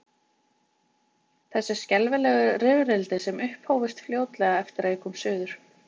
Þessi skelfilegu rifrildi sem upphófust fljótlega eftir að ég kom suður.